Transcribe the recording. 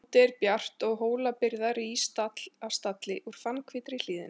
Úti er bjart og Hólabyrða rís stall af stalli úr fannhvítri hlíðinni.